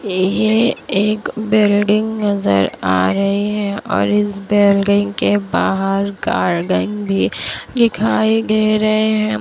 ये एक बिल्डिंग नजर आ रही है और इस बिल्डिंग के बाहर गार्डन भी दिखाई दे रहे है।